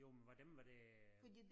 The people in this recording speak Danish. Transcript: Jo men var dem var det øh